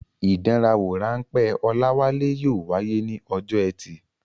Ìdánwò-ráńpẹ́ Olawale yóò wáyé ní ọjọ́ ẹtì.